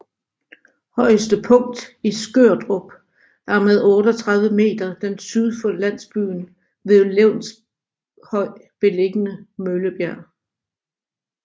Højeste punkt i Skørdrup er med 38 meter den syd for landsbyen ved Levshøj beliggende Møllebjerg